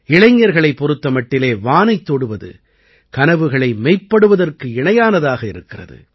இளைஞர்களைப் பொறுத்த மட்டிலே வானைத் தொடுவது கனவுகளை மெய்ப்படுவதற்கு இணையானதாக இருக்கிறது